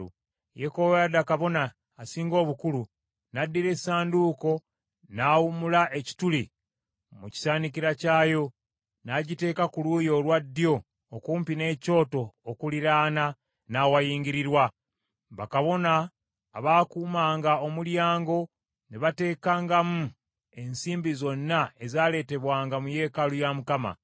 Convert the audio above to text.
Yekoyaada kabona asinga obukulu n’addira essanduuko n’awumula ekituli mu kisaanikizo kyayo, n’agiteeka ku luuyi olwa ddyo okumpi n’ekyoto okuliraana n’awayingirirwa. Bakabona abaakuumanga omulyango ne bateekangamu ensimbi zonna ezaaleetebwanga mu yeekaalu ya Mukama .